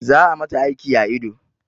Za a mata aiki a ido